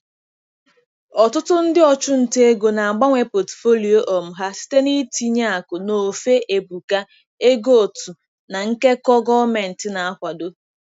Ọtụtụ ndị ọchụnta ego na-agbanwe Pọtụfoliyo um ha site n'itinye akụ n'ofe ebuka, ego otu, na nkekọ gọọmentị na-akwado.